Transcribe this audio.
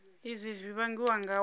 izwi zwi vhangiwa nga u